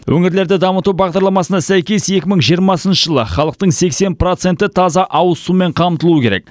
өңірлерді дамыту бағдарламасына сәйкес екі мың жиырмасыншы жылы халықтың сексен проценті таза ауыз сумен қамтылуы керек